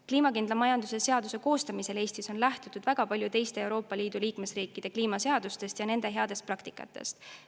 Kliimakindla majanduse seaduse koostamisel on Eestis väga palju lähtutud teiste Euroopa Liidu liikmesriikide kliimaseadustest ja nende heast praktikast.